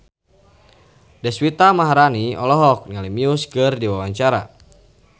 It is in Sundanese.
Deswita Maharani olohok ningali Muse keur diwawancara